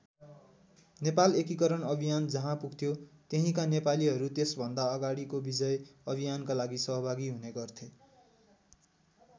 नेपाल एकिकरण अभियान जहाँ पुग्थ्यो त्यहिँका नेपालीहरू त्यसभन्दा अगाडिको विजय अभियानका लागि सहभागी हुने गर्थे।